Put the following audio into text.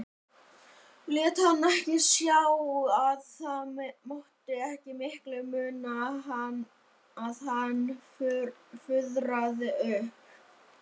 Lét hana ekki sjá að það mátti ekki miklu muna að hann fuðraði upp.